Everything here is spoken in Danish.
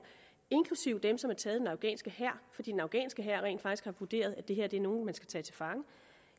inklusive dem som er taget af den afghanske hær fordi den afghanske hær rent faktisk har vurderet at det her er nogle man skal tage til fange